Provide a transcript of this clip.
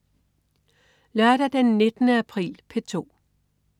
Lørdag den 19. april - P2: